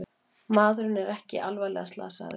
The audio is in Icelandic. Maðurinn er ekki alvarlega slasaðir